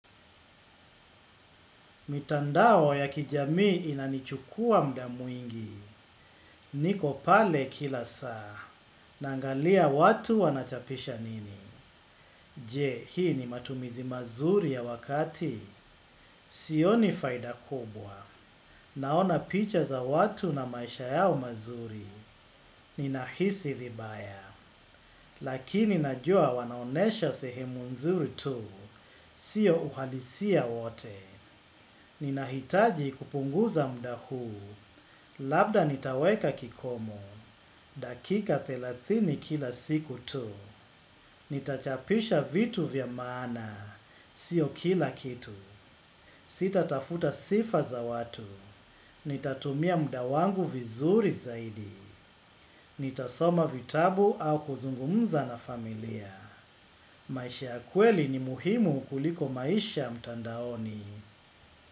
Mitandao ya kijamii inanichukua muda mwingi. Niko pale kila saa. Naangalia watu wanachapisha nini. Je, hii ni matumizi mazuri ya wakati? Sioni faida kubwa. Naona picha za watu na maisha yao mazuri. Ninahisi vibaya. Lakini najua wanaonyesha sehemu nzuri tu, sio uhalisia wote. Ninahitaji kupunguza muda huu, labda nitaweka kikomo, dakika thelathini kila siku tu. Nitachapisha vitu vya maana, sio kila kitu. Sitatafuta sifa za watu. Nitatumia muda wangu vizuri zaidi. Nitasoma vitabu au kuzungumza na familia. Maisha ya kweli ni muhimu kuliko maisha mtandaoni.